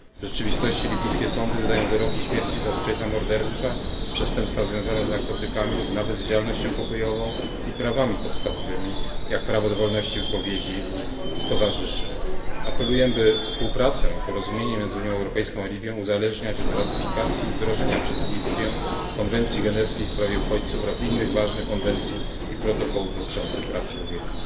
W rzeczywistości libijskie sądy wydają wyroki śmierci zazwyczaj za morderstwa, przestępstwa związane z narkotykami lub nawet z działalnością pokojową i prawami podstawowymi jak prawo do wolności wypowiedzi i stowarzyszeń. Apeluję, by współpracę i porozumienie między Unią Europejską a Libią uzależniać od ratyfikacji i wdrożenia przez Libię konwencji genewskiej w sprawie uchodźców oraz innych ważnych konwencji i protokołów dotyczących praw człowieka.